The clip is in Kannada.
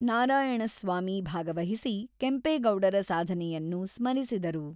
ನಾರಾಯಣಸ್ವಾಮಿ ಭಾಗವಹಿಸಿ ಕೆಂಪೇಗೌಡರ ಸಾಧನೆಯನ್ನು ಸ್ಮರಿಸಿದರು.